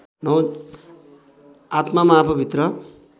आत्मामा आफूभित्र